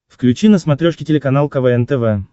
включи на смотрешке телеканал квн тв